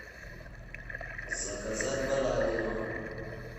заказать баранину